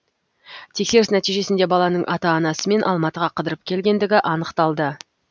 тексеріс нәтижесінде баланың ата анасымен алматыға қыдырып келгендігі анықталды